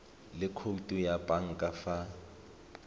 le khoutu ya banka fa